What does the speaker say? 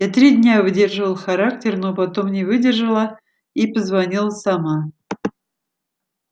я три дня выдерживала характер но потом не выдержала и позвонила сама